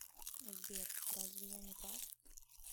сбер разве я не прав